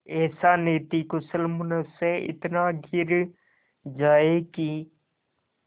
ऐसा नीतिकुशल मनुष्य इतना गिर जाए कि